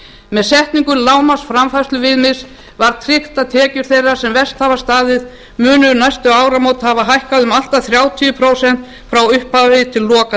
með setningu lágmarks framfærsluviðmiðs var tryggt að tekjur þeirra sem verst hafa staðið munu um næstu áramót hafa hækkað um allt að þrjátíu prósent frauppphafi til loka